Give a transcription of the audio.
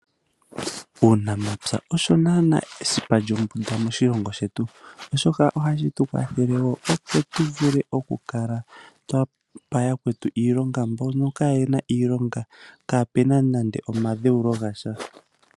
Uunamapya osho naana esipa lyombunda moshilongo shetu. Shoka oha shi tu kwathele wo , opo tu vule oku pa yakwetu iilonga mbono kaa ye na iilonga, kaa pe na nande omadheulo gasha.